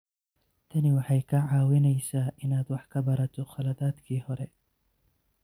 Tani waxay kaa caawinaysaa inaad wax ka barato khaladaadkii hore.